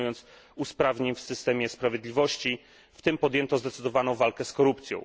dokonując usprawnień w systemie sprawiedliwości, w tym podjęto zdecydowaną walkę z korupcją.